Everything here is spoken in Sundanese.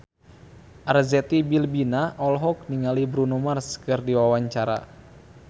Arzetti Bilbina olohok ningali Bruno Mars keur diwawancara